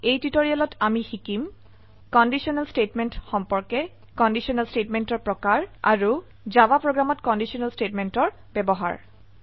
এই টিউটোৰিয়েলত আমি শিকিম কন্ডিশনেল স্টেটমেন্ট সম্পৰ্কে কন্ডিশনেল স্টেটমেন্টেৰ প্ৰকাৰ আৰু জাভা প্ৰোগ্ৰামত কন্ডিশনেল স্টেটমেন্টৰ ব্যবহাৰ